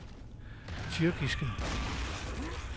tyrkiske